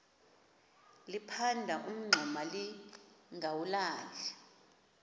liphanda umngxuma lingawulali